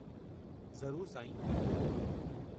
ज़रूरु साईं।